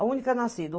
A única nascida.